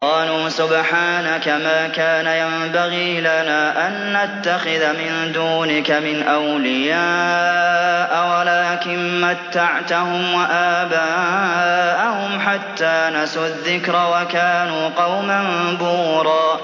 قَالُوا سُبْحَانَكَ مَا كَانَ يَنبَغِي لَنَا أَن نَّتَّخِذَ مِن دُونِكَ مِنْ أَوْلِيَاءَ وَلَٰكِن مَّتَّعْتَهُمْ وَآبَاءَهُمْ حَتَّىٰ نَسُوا الذِّكْرَ وَكَانُوا قَوْمًا بُورًا